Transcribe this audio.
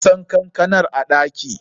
Nasan kankanar a ɗaki.